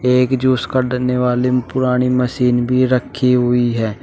एक जूस काडने वाले पुरानी मशीन भी रखी हुई है।